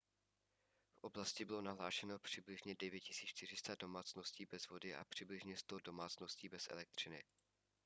v oblasti bylo nahlášeno přibližně 9 400 domácností bez vody a přibližně 100 domácností bez elektřiny